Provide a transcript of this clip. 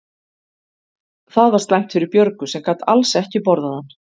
Það var slæmt fyrir Björgu sem gat alls ekki borðað hann.